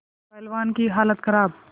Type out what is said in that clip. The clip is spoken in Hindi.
पहलवान की हालत खराब